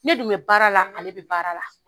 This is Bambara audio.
Ne dun bɛ baara la ale bɛ baara la.